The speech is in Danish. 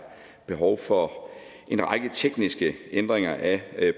behov for en række tekniske ændringer af